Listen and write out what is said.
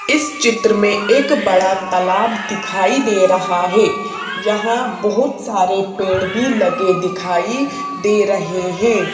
इस चित्र में एक बड़ा तालाब दिखाई दे रहा है यहां बहुत सारे पेड़ भी लगे दिखाई दे रहे हैं.